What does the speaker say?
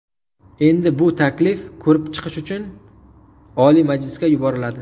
Endi bu taklif ko‘rib chiqish uchun Oliy Majlisga yuboriladi.